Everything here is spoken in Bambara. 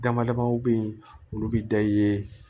Dama dama be yen olu bi da i ye